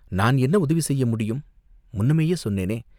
"நான் என்ன உதவியைச் செய்ய முடியும்?" "முன்னமேயே சொன்னேனே.